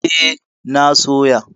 E, na soya.